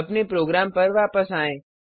अपने प्रोग्राम पर वापस आएँ